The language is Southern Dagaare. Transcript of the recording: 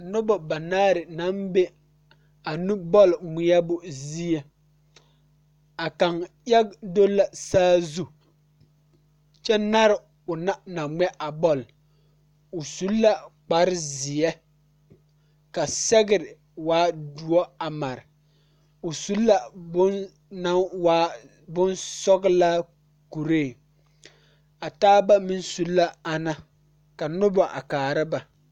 Noba banaare naŋ be a nubɔl ŋmeɛbo zie a kaŋ aɡi do la saazu kyɛ nare o meŋɛ a na ŋmɛ a bɔl o su la kparzeɛ ka sɛɡre waa doɔ a mare o su la bone naŋ waa bonsɔɡelaa kuree o taaba meŋ su la ana ka noba a kaara ba.